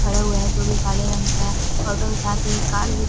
खड़ा हुआ है जो कि काले रंग का है ओटो के साथ एक कार भी--